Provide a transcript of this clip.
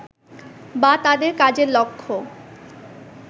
বা তাদের কাজের লক্ষ্য